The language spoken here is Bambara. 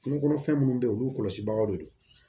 Kungo kɔnɔfɛn minnu bɛ yen olu kɔlɔsibagaw de don